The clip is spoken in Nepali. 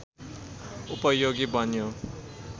उपयोगी बन्यो